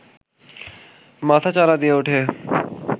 মাথাচাড়া দিয়ে উঠে